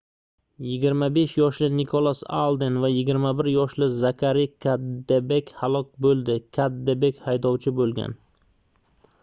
25 yoshli nikolas alden va 21 yoshli zakari kaddebek halok boʻldi kaddebek haydovchi boʻlgan